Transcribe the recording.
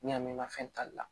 N'i y'a mɛn fɛn tali la